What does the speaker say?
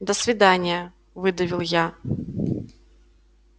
до свидания выдавил я